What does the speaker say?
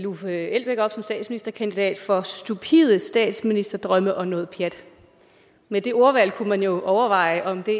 uffe elbæk op som statsministerkandidat for stupide statsministerdrømme og noget pjat med det ordvalg kunne man jo overveje om det